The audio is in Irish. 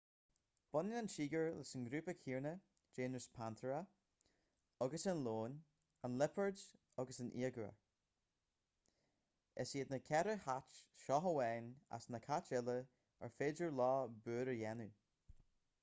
baineann an tíogar leis an ngrúpa céanna géineas panthera agus an leon an liopard agus an iaguar. is iad na ceithre chait seo amháin as na cait uile ar féidir leo búir a dhéanamh